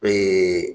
Ee